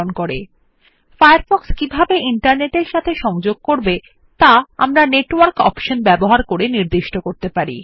network option ব্যবহার করে Firefox কিভাবে ইন্টারনেট এর সাথে সংযোগ করবে তা আমরা নির্দিষ্ট করতে পারি